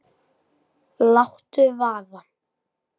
Láttu vaða